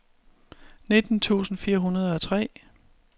nitten tusind fire hundrede og tre